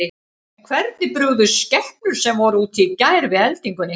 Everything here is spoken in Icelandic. En hvernig brugðust skepnur sem voru úti í gær við eldingunni?